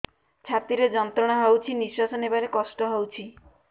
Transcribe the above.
ଛାତି ରେ ଯନ୍ତ୍ରଣା ହଉଛି ନିଶ୍ୱାସ ନେବାରେ କଷ୍ଟ ହଉଛି